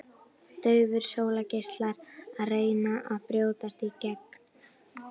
Daufir sólgeislar að reyna að brjótast í gegn.